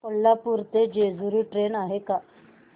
कोल्हापूर ते जेजुरी ट्रेन आहे का